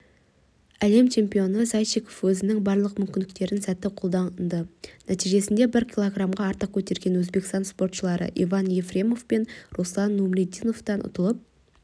әлем чемпионы зайчиков өзінің барлық мүмкіндіктерін сәтті қолданды нәтижесінде бір килограммға артық көтерген өзбекстан спортшылары иван ефремов пен руслан нумрудиновтен ұтылып